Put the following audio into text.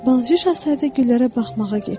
Balaca şahzadə güllərə baxmağa getdi.